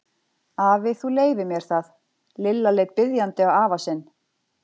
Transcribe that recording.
Afi, þú leyfir mér það. Lilla leit biðjandi á afa sinn.